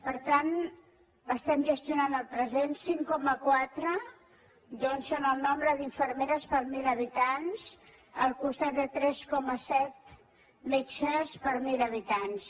per tant estem gestionant el present cinc coma quatre doncs són el nombre d’infermeres per mil habitants al costat de tres coma set metges per mil habitants